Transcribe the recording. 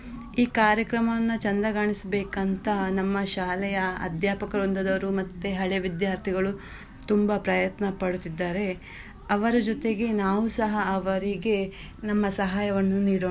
ಈ ಕಾರ್ಯಕ್ರಮವನ್ನ ಚಂದಗಾಣಿಸ್ಬೇಕಂತ ನಮ್ಮ ಶಾಲೆಯ ಅಧ್ಯಾಪಕ ವೃಂದದವರು ಮತ್ತೆ ಹಳೆ ವಿದ್ಯಾರ್ಥಿಗಳು ತುಂಬ ಪ್ರಯತ್ನ ಪಡುತ್ತಿದ್ದಾರೆ. ಅವರ ಜೊತೆಗೆ ನಾವುಸಹ ಅವರಿಗೆ ನಿಮ್ಮ ಸಹಾಯ ನೀಡೋಣ.